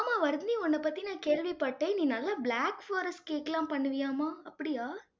ஆமா, வர்தினி உன்னைப் பத்தி நான் கேள்விப்பட்டேன். நீ நல்லா black forest cake எல்லாம் பண்ணுவியாம்மா? அப்படியா